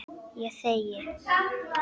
Ég þegi.